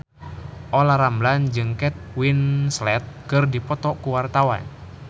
Olla Ramlan jeung Kate Winslet keur dipoto ku wartawan